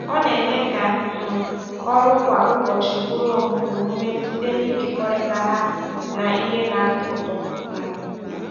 Ọ na-eme ka um ọrụ kwa ụbọchị bụrụ omume site n’ịkekọrịta ha na ihe na-atọ ụtọ. um